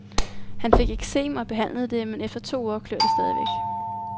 Han fik eksem og behandlede det men efter to uger klør det stadig væk.